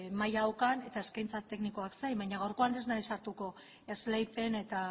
maila daukan eta eskaintza teknikoak zein baina gaurkoan ez naiz sartuko esleipen eta